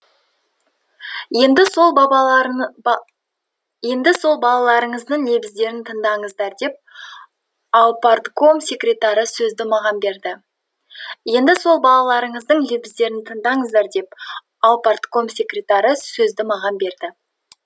енді сол бабабары ба енді сол балаларыңыздың лебіздерін тыңдаңыздар деп аупартком секретары сөзді маған берді енді сол балаларыңыздың лебіздерін тыңдаңыздар деп аупартком секретары сөзді маған берді